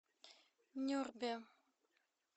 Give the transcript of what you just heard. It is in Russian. нюрбе